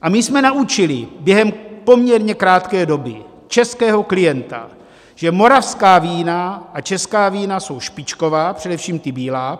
A my jsme naučili během poměrně krátké doby českého klienta, že moravská vína a česká vína jsou špičková, především ta bílá.